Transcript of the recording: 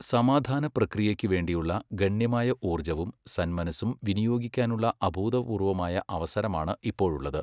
സമാധാനപ്രക്രിയയ്ക്കുവേണ്ടിയുള്ള ഗണ്യമായ ഊർജവും സന്മനസ്സും വിനിയോഗിക്കാനുള്ള അഭൂതപൂർവമായ അവസരമാണ് ഇപ്പോഴുള്ളത്.